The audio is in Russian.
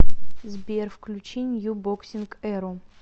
сбер включи нью боксинг эру